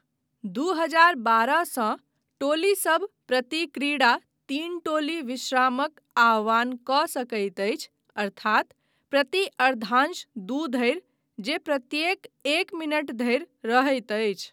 दू हजार बारहसँ, टोलीसभ प्रति क्रीड़ा तीन टोली विश्रामक आह्वान कऽ सकैत अछि अर्थात प्रति अर्द्धांश दू धरि, जे प्रत्येक एक मिनट धरि रहैत अछि।